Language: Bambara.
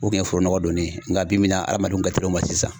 O kun ye foro nɔgɔ donnen ye nka bibi in na adamadenw ka teli o ma sisan .